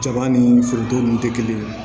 Jaba ni foronto nunnu tɛ kelen ye